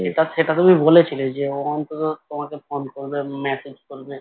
সেটা সেটা তুমি বলেছিলে যে ও অন্তত তোমাকে phone করবে message করবে